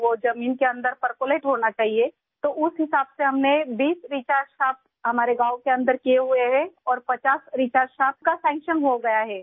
زمین کے اندر پرکولیٹ، اس کے مطابق ہم نے اپنے گاؤں میں 20 ریچارج شافٹ بنائے ہیں اور 50 ریچارج شافٹ منظور کیے گئے ہیں